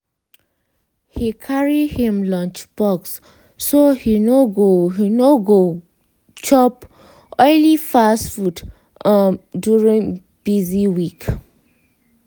he carry him lunchbox so e no go e no go chop oily fast food um during busy week.